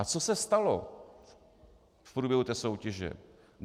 A co se stalo v průběhu té soutěže?